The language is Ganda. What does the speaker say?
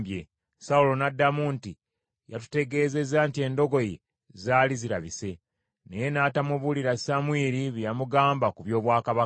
Sawulo n’addamu nti, “Yatutegeeza nti endogoyi zaali zirabise.” Naye n’atamubuulira Samwiri bye yamugamba ku by’obwakabaka.